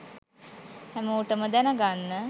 හැමෝටම දැනගන්න.